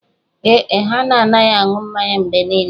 Ee e, ha na-anaghị anụ mmanya mgbe niile